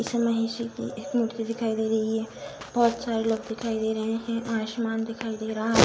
इसमें महेशजी की एक मूर्ति दिखाई दे रही है। बहुत सारे लोग दिखाइ दे रहे हैं। आशमान दिखाई दे रहा --